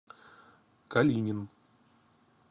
калинин